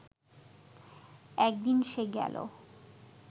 একদিন সে গেল